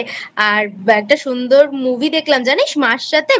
আর একটা সুন্দর Movie দেখলাম জানিস মার সাথে